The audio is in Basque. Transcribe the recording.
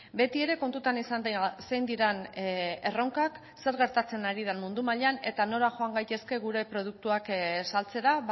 beti ere kontutan izan zein diren erronkak zer gertatzen ari den mundu mailan eta nora joan gaitezke gure produktuak saltzera